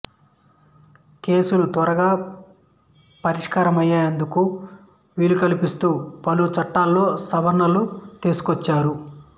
కేసులు త్వరగా పరిష్కారమయ్యేందుకు వీలుకల్పిస్తూ పలు చట్టాల్లో సవరణలు తీసుకొచ్చారు